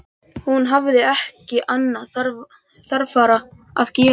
Hún hafði ekki annað þarfara að gera.